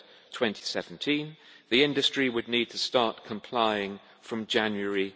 2017. The industry would need to start complying from January